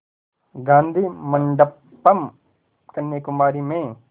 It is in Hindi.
गाधी मंडपम् कन्याकुमारी में